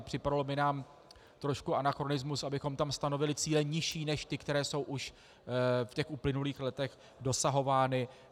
A připadalo by nám trošku anachronismus, abychom tam stanovili cíle nižší než ty, které jsou už v těch uplynulých letech dosahovány.